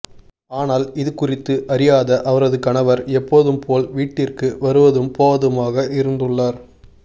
ஆனால் இது குறித்து அறியாத அவரது கணவர் எப்போதும் போல் வீட்டிற்கு வருவதும் போவதுமாக இருந்துள்ளார்